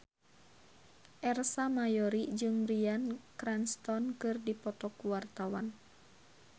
Ersa Mayori jeung Bryan Cranston keur dipoto ku wartawan